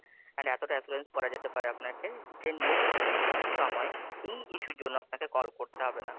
And এতটা Assurance করা যেতে পারে আপনাকে, যে Next সময় এই issue র জন্য আপনাকে কল করতে হবে না।